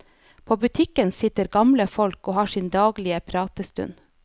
På butikken sitter gamle folk og har sin daglige pratestund.